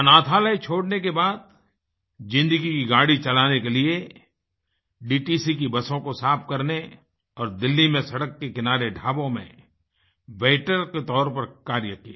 अनाथालय छोड़ने के बाद ज़िन्दगी की गाड़ी चलाने के लिए डीटीसी की बसों को साफ़ करने और दिल्ली में सड़क के किनारे ढाबों में वेटर के तौर पर कार्य किया